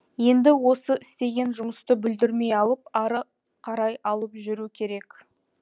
енді осы істеген жұмысты бүлдірмей алып ары қарай алып жүру керек